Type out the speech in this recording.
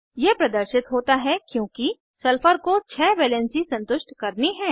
यह प्रदर्शित होता है क्योंकि सल्फर को 6 वैलेन्सी संतुष्ट करनी है